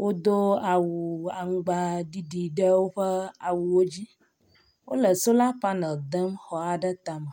Wodo awu aŋgbaɖiɖi ɖe woƒe awuwo dzi. wo le sola panel dem xɔ aɖe tame.